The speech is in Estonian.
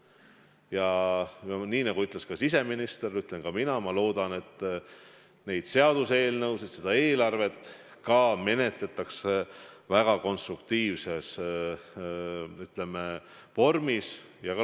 Ja nagu ütles siseminister, ütlen ka mina: ma loodan, et neid seaduseelnõusid, ka seda lisaeelarvet menetletakse väga konstruktiivselt.